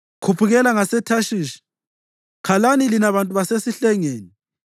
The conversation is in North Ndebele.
Khuphukelani ngaseThashishi; khalani lina bantu basesihlengeni.